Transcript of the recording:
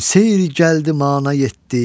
Küm seyr gəldi mana yetdi.